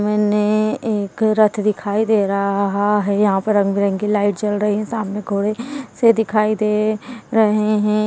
मैंने एक रथ दिखाई दे र अहा है यहाँ पर रंग बिरंगी लाइट जल रही हैं सामने घोड़े से दिखाई दे रहे हैं।